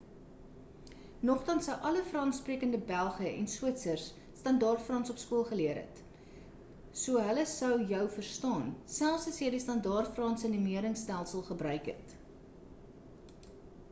nogtans sou alle frans-sprekende belge en switsers standaard frans op skool geleer het so hulle sou jou verstaan selfs as jy die standaard franse numeringstelsel gebruik het